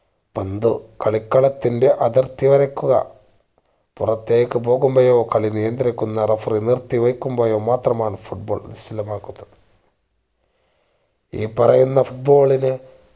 പന്ത് കളിക്കളത്തിന്റെ അതിർത്തി കടക്കുക പുറത്തേക്ക് പോകുമ്പോഴോ കളി നിയന്ത്രിക്കുന്ന referee നിർത്തിവെക്കുമ്പോഴോ മാത്രമാണ് foot ball നിശ്ചലമാകുന്നത് ഈ പറയുന്ന foot ball നു